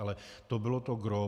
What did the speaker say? Ale to bylo to gros.